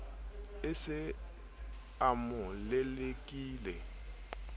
a se a mo lelekile